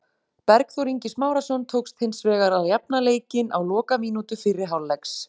Bergþór Ingi Smárason tókst hins vegar að jafna leikinn á lokamínútu fyrri hálfleiks.